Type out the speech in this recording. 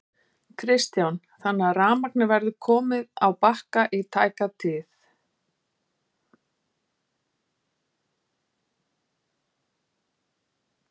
Kristján: Þannig að rafmagnið verður komið á Bakka í tæka tíð?